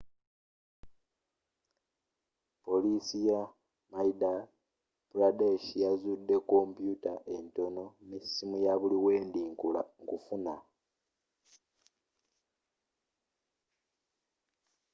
poliisi ye madya pradesh yazudde kompuuta entono nesimu yabuliwendi nkufuna